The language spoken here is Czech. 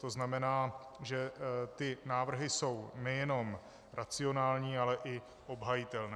To znamená, že ty návrhy jsou nejenom racionální, ale i obhajitelné.